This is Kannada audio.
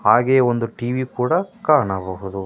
ಹಾಗೆ ಒಂದು ಟಿವಿ ಕೂಡ ಕಾಣಬಹುದು.